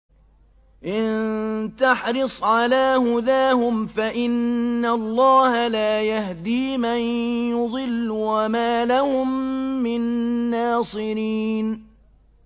إِن تَحْرِصْ عَلَىٰ هُدَاهُمْ فَإِنَّ اللَّهَ لَا يَهْدِي مَن يُضِلُّ ۖ وَمَا لَهُم مِّن نَّاصِرِينَ